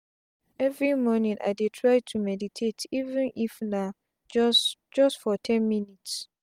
everi mornin i dey try to meditate even if na just just for ten minutes.